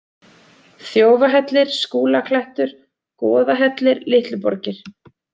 Þjófahellir, Skúlaklettur, Goðahellir, Litluborgir